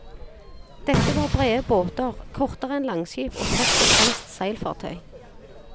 Dette var brede båter, kortere enn langskip og først og fremst seilfartøy.